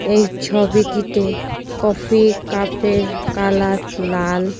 এই ছবিটিতে coffee cup -এর কালার লাল।